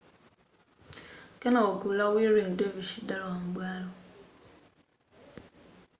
kenako gulu la whirling dervish lidalowa m'bwalo